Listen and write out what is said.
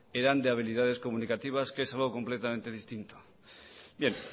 eran de habilidades comunicativas que es algo completamente distinto bien